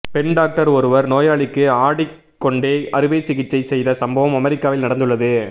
பெண் டாக்டர் ஒருவர் நோயாளிக்கு ஆடிக் கொண்டே அறுவை சிகிச்சை செய்த சம்பவம் அமெரிக்காவில் நடந்துள்ளது